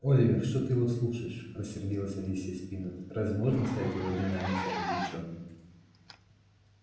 оливер что ты его слушаешь рассердилась алисия спиннет разве можно оставить его один на один с таким мячом